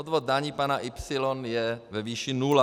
Odvod daní pana Y je ve výši nula.